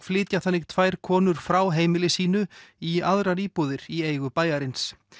flytja þannig tvær konur frá heimili sínu í aðrar íbúðir í eigu bæjarins